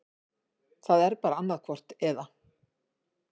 Það er bara annaðhvort eða.